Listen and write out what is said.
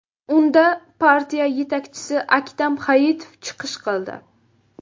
Unda partiya yetakchisi Aktam Hayitov chiqish qildi.